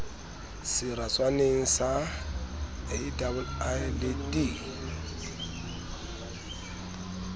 seratswaneng sa aii le d